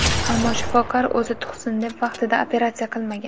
Ammo shifokor o‘zi tug‘sin deb vaqtida operatsiya qilmagan.